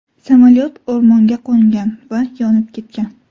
Samolyot o‘rmonga qo‘ngan va yonib ketgan.